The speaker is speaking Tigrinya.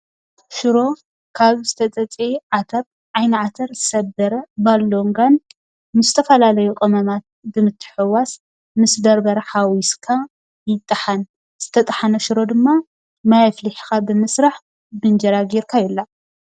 ሽሮ ካብ ዝተጸጸየ ዓተር፥ ዓይኒ ዓተር፥ ሰበረ፥ ባሎንጋን ምስ ዝተፈላለዩ ቅመማት ብምትሕዉዋስ ምስ በርበረ ሓዊስካ ይጠሓን። ዝተጠሓነ ሽሮ ድማ ማይ ኣፍሊሕኻ ብምስራሕ ብንእጅራ ገይርካ ይብላዕ።